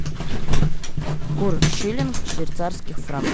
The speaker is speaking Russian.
курс шиллинг швейцарский франк